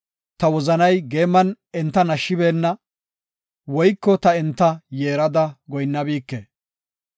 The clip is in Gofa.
ta wozanay geeman enta nashshibeenna, woyko ta enta yeerada goyinnabike.